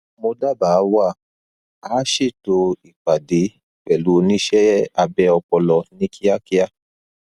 mo dábàáwà á ṣètò ìpàdé pẹlú oníṣẹ abẹ ọpọlọ ní kíákíá